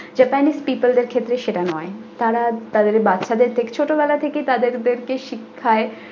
japanese people দের ক্ষেত্রে সেটা নই তারা তাদের বাচ্চাদের কে ছোটবেলা থেকেই তাদের শিক্ষায়।